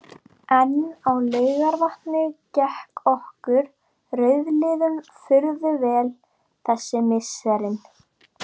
En á Laugarvatni gekk okkur rauðliðum furðu vel þessi misserin.